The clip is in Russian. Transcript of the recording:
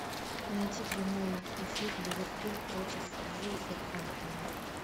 найти прямой эфир ливерпуль против вулверхэмптона